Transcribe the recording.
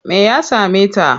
Me ya same ta?